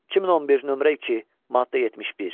2011, nömrə 2, maddə 71.